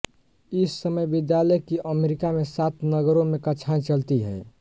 इस समय विद्यालय की अमेरिका में सात नगरों में कक्षाएं चलती हैं